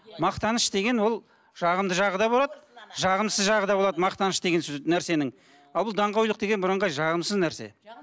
мақтаныш деген ол жағымды жағы да болады жағымсыз жағы да болады мақтаныш деген сөз нәрсенің ал бұл даңғойлық деген бірыңғай жағымсыз нәрсе